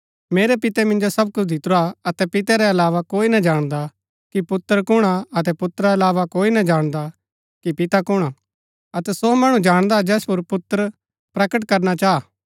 मेरै पिते मिन्जो सब कुछ दितुरा हा अतै पिते रै अलावा कोई ना जाणदा कि पुत्र कुणआ अतै पुत्रा रै अलावा कोई ना जाणदा कि पिता कुणआ अतै सो मणु जाणदा जैस पुर पुत्र प्रकट करना चाहा